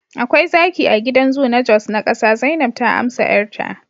akwai zaki a gidan zoo na jos na kasa, zainab ta amsa 'yarta